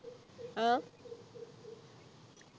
ആഹ്